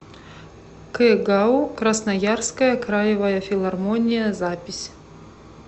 кгау красноярская краевая филармония запись